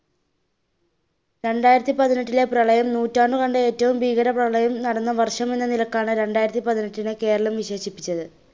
രണ്ടായിരത്തി പതിനെട്ടിലെ, പ്രളയം നൂറ്റാണ്ട് കണ്ട ഏട്ടവും ഭീകര പ്രളയം നടന്ന വർഷമെന്ന നിലക്കാണ് രണ്ടായിരത്തി പതിനെട്ടിനെ കേരളം വിശേഷിപ്പിച്ചത്.